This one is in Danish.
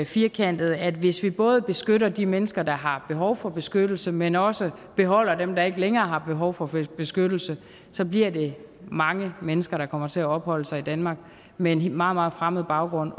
firkantet at hvis vi både beskytter de mennesker der har behov for beskyttelse men også beholder dem der ikke længere har behov for beskyttelse så bliver det mange mennesker der kommer til at opholde sig i danmark med en meget meget fremmed baggrund